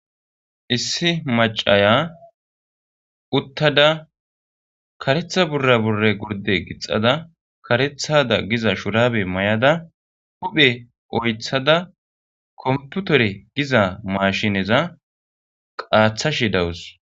issi macaya uttada karetha burra burre gurde gixada karethada giza shurabe may7ada huphe oythada komputore giza mashineza qaathashi dawus